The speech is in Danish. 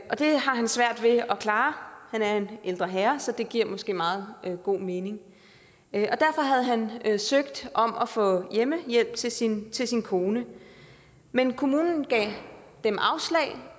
og det har han svært ved at klare han er en ældre herre så det giver måske meget god mening derfor havde han søgt om at få hjemmehjælp til sin til sin kone men kommunen gav dem afslag